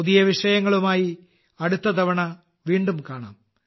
പുതിയ വിഷയങ്ങളുമായി അടുത്ത തവണ വീണ്ടും കാണാം